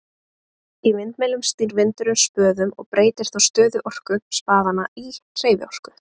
í vindmyllum snýr vindurinn spöðum og breytir þá stöðuorku spaðanna í hreyfiorku